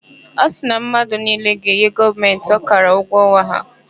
Ọ sịrị na mmadụ niile ga-enye Gọọmentị ọkara ụgwọ ọnwa ha.